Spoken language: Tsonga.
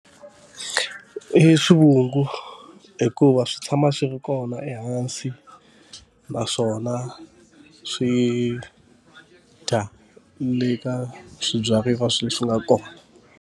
I swivungu hikuva swi tshama swi ri kona ehansi, naswona swi dya le ka swibyariwa sweswi swi nga kona.